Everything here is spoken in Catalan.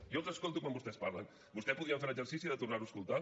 jo els escolto quan vostès parlen vostè podria fer l’exercici de tornar ho a escoltar